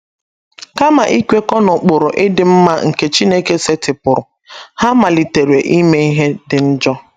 Kama ikwekọ n’ụkpụrụ ịdị mma nke Chineke setịpụrụ, ha malitere ime ihe dị njọ.